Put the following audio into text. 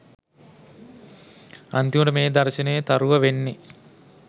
අන්තිමට මේ “දර්ශනයේ තරුව” වෙන්නෙ